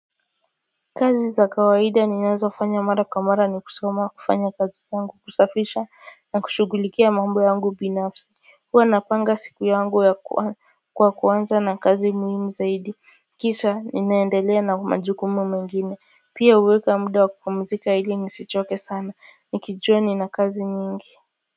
Kazi za kawaida ninazo fanya mara kwa mara ni kusoma kufanya kazi zangu kusafisha na kushugulikia mambo yangu binafsi kwa napanga siku yangu kwa kuanza na kazi muhimu zaidi kisha ninaendelea na majukumu mengine pia uweka mudu wa kupumuzika ili nisichoke sana nikijuwa nina kazi nyingi.